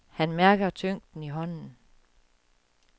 Han mærker tyngden i hånden.